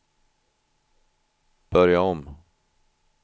börja om